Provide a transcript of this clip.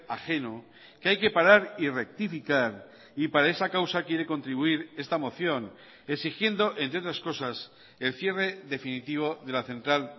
ajeno que hay que parar y rectificar y para esa causa quiere contribuir esta moción exigiendo entre otras cosas el cierre definitivo de la central